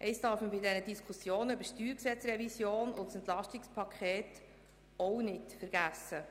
Eines darf man bei der Diskussion über die StG-Revision und das EP auch nicht vergessen.